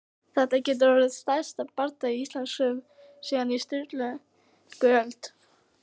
Þetta getur orðið stærsti bardagi Íslandssögunnar síðan á Sturlungaöld!